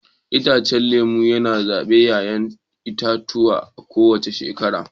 Itacen lemu yana zuba 'ya'ya itatuwa a kowace shekara.